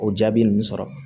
O jaabi ninnu sɔrɔ